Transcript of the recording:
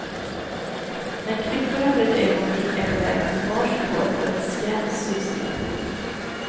När kryckorna för ett ögonblick är på väg åt varsitt hål går ett skrämt sus genom publiken.